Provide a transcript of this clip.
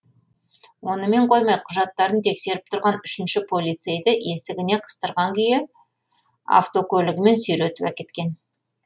онымен қоймай құжаттарын тексеріп тұрған үшінші полицейді есігіне қыстырған күйі автокөлігімен сүйретіп әкеткен